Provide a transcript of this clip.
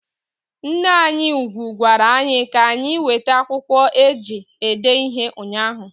Nneanyị ugwu gwara anyị ka anyị wete akwụkwọ eji ede ihe ụnyahụ.